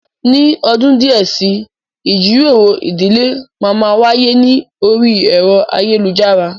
Ní ọdún díẹ̀ si, ìjíròrò ìdílé máa má wáyé ní orí ẹ̀rọ ayélujara